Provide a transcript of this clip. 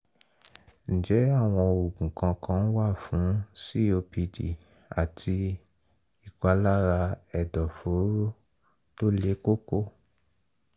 ǹjẹ́ àwọn oògùn kankan wà fún copd àti ìpalára ẹ̀dọ̀fóró tó le koko?